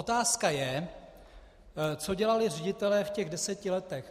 Otázka je, co dělali ředitelé v těch deseti letech.